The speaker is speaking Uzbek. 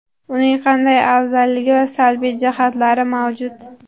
Uning qanday afzalligi va salbiy jihatlari mavjud?